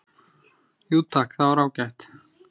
"""Jú takk, það var ágætt"""